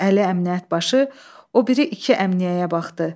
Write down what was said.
Əli Əmniyyət başı o biri iki əmniyyəyə baxdı.